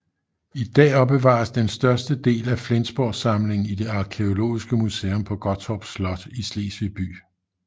I dag opbevares den største del af Flensborgsamlingen i det arkæologiske museum på Gottorp Slot i Slesvig by